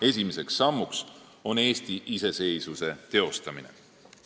Esimeseks sammuks on Eesti iseseisvuse teostamine.